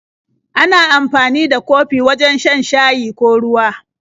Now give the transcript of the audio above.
Ana amfani da kofi wajen shan shayi ko ruwa.